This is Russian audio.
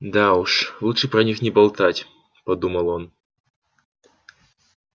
да уж лучше про них не болтать подумал он